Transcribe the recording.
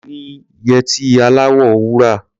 Mo ní yẹtí aláwọ̀ wúrà.